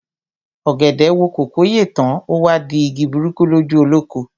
Ọ̀gẹ̀dẹ̀ wo kòkó yè tán, o wá di igi burúkú lójú olóko.